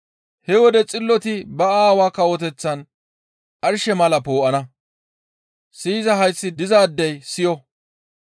He wode xilloti ba Aawaa Kawoteththan arshe mala poo7ana. Siyiza hayththi dizaadey siyo!